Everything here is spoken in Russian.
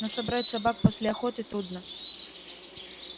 но собрать собак после охоты трудно